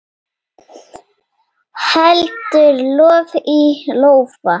Heldur lof í lófa.